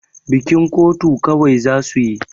Bikin kotu kawai za su yi.